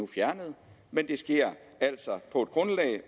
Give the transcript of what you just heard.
fjernet men det sker altså på et grundlag